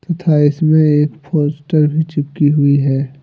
तथा एक पोस्टर भी चिपकी हुई है।